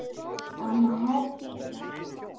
Amma Herdís.